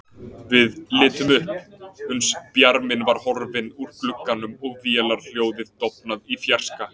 Við litum upp, uns bjarminn var horfinn úr glugganum og vélarhljóðið dofnað í fjarska.